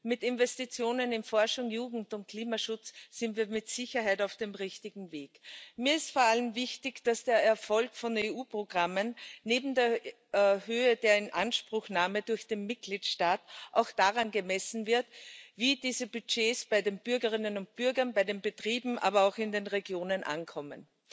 Mit Investitionen in Forschung, Jugend und Klimaschutz sind wir mit Sicherheit auf dem richtigen Weg. Mir ist vor allem wichtig, dass der Erfolg von EU Programmen neben der Höhe der Inanspruchnahme durch den Mitgliedstaat auch daran gemessen wird, wie diese Budgets bei den Bürgerinnen und Bürgern, bei den Betrieben, aber auch in den Regionen ankommen.